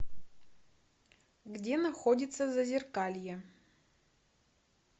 где находится зазеркалье